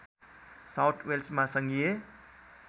south वेल्समा सङ्घीय